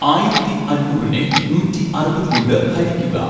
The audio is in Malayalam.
ആയിരത്തി അഞ്ഞൂറിനെ നൂറ്റി അറുപത് കൊണ്ട് ഹരിക്കുക